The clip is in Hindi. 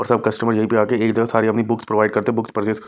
और सब कस्टमर यहीं पे आ के इधर सारी अपनी बुक्स प्रोवाइड करते हैं बुक्स परचेस --